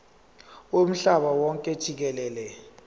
womhlaba wonke jikelele